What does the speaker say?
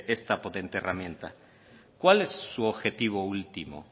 esta potente herramienta cuál es su objetivo último